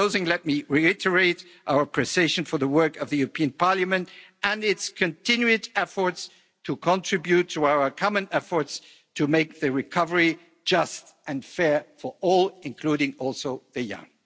In closing, let me reiterate our appreciation for the work of the European Parliament and its continued efforts to contribute to our common efforts to make the recovery just and fair for all, including also the young.